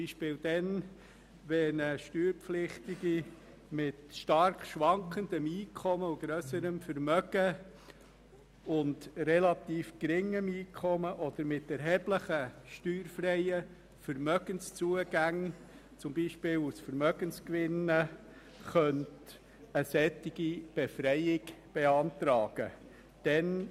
Das geschehe beispielsweise dann, wenn eine steuerpflichtige Person mit stark schwankendem, relativ geringem Einkommen und grösserem Vermögen oder mit erheblichen steuerfreien Vermögenszugängen, beispielsweise aus Vermögensgewinnen, eine solche Befreiung beantragen könne.